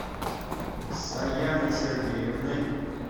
саяной сергеевной